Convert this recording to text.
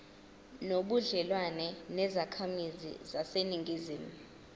nobudlelwane nezakhamizi zaseningizimu